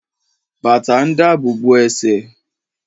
Bàtà ń dabobo ẹ̀sẹ̀